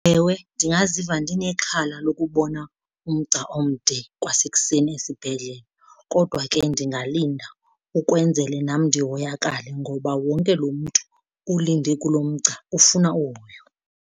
Ewe, ndingaziva ndinexhala lokubona umgca omde kwasekuseni esibhedlele kodwa ke ndingalinda ukwenzele nam ndihoyakale ngoba wonke loo mntu ulinde kulo mgca ufuna uhoyo.